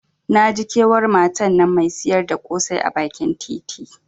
Naji kewar matan nan Mai siyar da kosai a bakin titi.